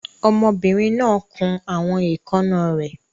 Ọmọbìnrin náà kun àwọn èékánná rẹ̀.